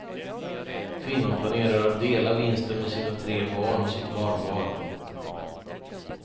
Kvinnan planerar att dela vinsten med sina tre barn och sitt barnbarn.